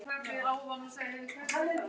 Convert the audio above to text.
Elsku Veiga okkar.